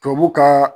Tubabu ka